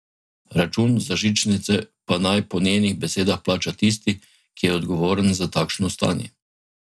Račun za žičnice pa naj po njenih besedah plača tisti, ki je odgovoren za takšno stanje.